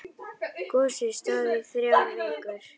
Gosið stóð í þrjár vikur.